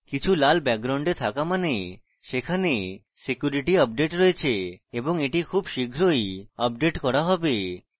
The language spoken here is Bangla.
কিছু লাল background থাকা means সেখানে security update রয়েছে এবং এটি খুব শীঘ্রই আপডেট করতে হবে